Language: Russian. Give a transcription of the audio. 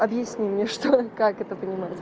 объясни мне что и как это понимать